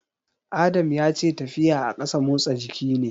Adam ya ce tafiya a ƙasa motsa jiki ne.